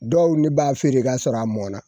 Dɔw ne b'a feere k'a sɔrɔ a mɔna